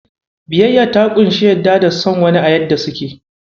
Biyayya ta ƙunshi yarda da son wani a yadda suke.